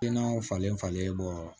Dennaw falen falenlen bɔ